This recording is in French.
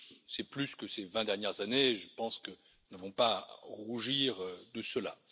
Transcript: C'est plus que ces vingt dernières années et je pense que nous n'avons pas à rougir de cela.